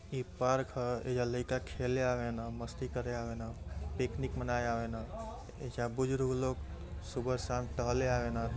ई park ह एइजा लईका खेले आवेन मस्ती करे आवेन पिकनिक मनावे आवेन। एइजा बुजुरुग लोग सुबह-शाम टहले आवेन।